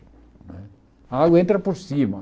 Né a água entra por cima.